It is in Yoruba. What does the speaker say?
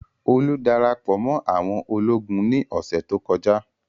Olú dára pọ̀ mọ́ àwọn ológun ní ọ̀sẹ̀ tó kọjá.